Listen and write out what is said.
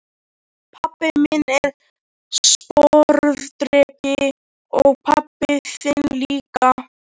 Pabbi minn er sporðdreki og pabbi þinn líka.